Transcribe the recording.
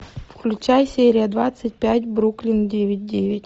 включай серия двадцать пять бруклин девять девять